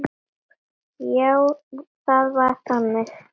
Já, það var þannig.